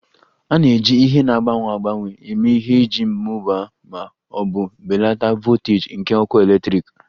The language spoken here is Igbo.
A na-eji ihe na-agbanwe agbanwe eme ihe iji mụbaa ma ọ bụ belata voltaji nke ọkụ eletrik